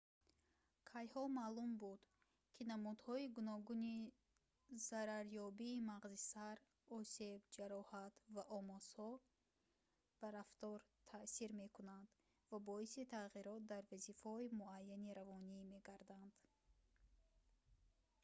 кайҳо маълум буд ки намудҳои гуногуни зарарёбии мағзи сар осеб ҷароҳат ва омосҳо ба рафтор таъсир мекунанд ва боиси тағйирот дар вазифаҳои муайяни равонӣ мегарданд